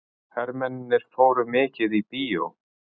Hermennirnir fóru mikið í bíó.